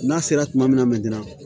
N'a sera kuma min na a ma d'i ma